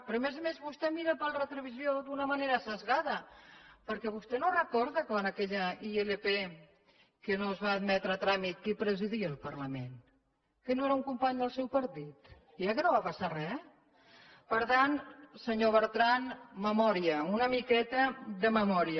però a més a més vostè mira pel retrovisor d’una manera esbiaixada perquè vostè no recorda quan aquella ilp que no es va admetre a tràmit qui presidia el parlament que no era un company del seu partit i eh que no va passar re per tant senyor bertran memòria una miqueta de memòria